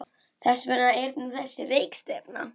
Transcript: Þess vegna er nú þessi rekistefna.